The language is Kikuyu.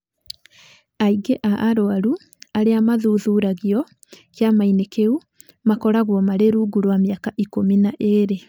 Aingĩ a arũaru arĩa maathuthuragio kĩama-inĩ kĩu makoragwo marĩ rungu rwa mĩaka ikũmi na igĩrĩ.